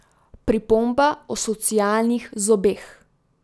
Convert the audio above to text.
Pripomba o socialnih zobeh.